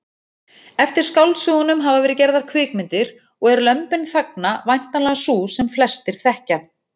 Eftir skáldsögunum hafa verið gerðar kvikmyndir og er Lömbin þagna væntanlega sú sem flestir þekkja.